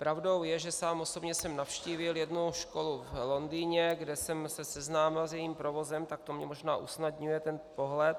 Pravdou je, že sám osobně jsem navštívil jednu školu v Londýně, kde jsem se seznámil s jejím provozem, tak to mi možná usnadňuje ten pohled.